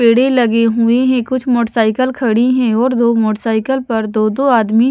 पेड़े लगी हुई है कुछ मोटरसाइकिल खड़ी है और दो मोटरसाइकिल पर दो दो आदमी--